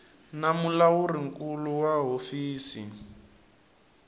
na mulawuri nkulu wa hofisi